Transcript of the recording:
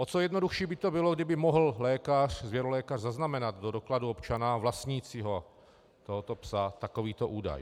O co jednodušší by to bylo, kdyby mohl lékař, zvěrolékař, zaznamenat do dokladu občana vlastnícího tohoto psa takovýto údaj.